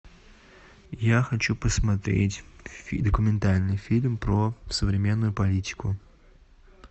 я хочу посмотреть документальный фильм про современную политику